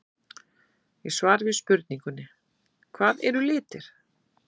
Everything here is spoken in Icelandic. Í svari við spurningunni Hvað eru litir?